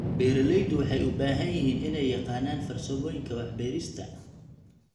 Beeraleydu waxay u baahan yihiin inay yaqaanaan farsamooyinka wax beerista.